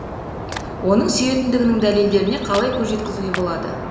оның сүйетіндігінің дәлелдеріне қалай көз жеткізуге болады